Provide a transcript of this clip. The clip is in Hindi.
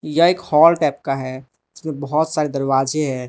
यह एक हॉल टाइप का है उसमें बहोत सारे दरवाजे है।